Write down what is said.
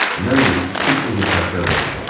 Mən də iki il o cür təlxər olmuşam.